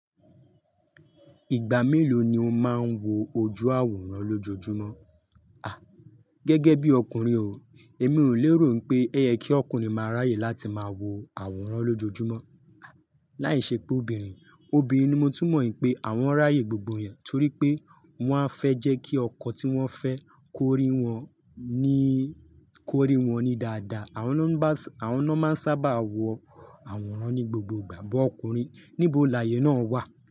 Ìgbà mélòó ni o máa ń wo ojú àwòrán lójoojúmọ́? Gẹ́gẹ́ bí ọkùnrin o, èmi ò léèrò n pé oyẹ kí ọkùnrin máa ráyè láti máa wo àwòrán lójoojúmọ́. Láìṣẹ pé obìnrin, obìnrin ni mo túmọ̀ ìpé, àwọn ráyè gbogbo yẹn torí pé wọ́n á fẹ́ jẹ́ kí ọkọ tí wọ́n fẹ́ kórìí wọn ní kórìí wọn ní dada. Àwọn ná máa ń sábà wo àwòrán ní gbogbo ìgbà, but ọkùnrin níbo lààyè náà wà.